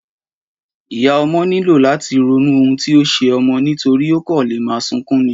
Ìyá ọmọ nílò làti ronú ohun tí o ṣe ọmọ nítorí ọmọ kàn leè ma sunkún ni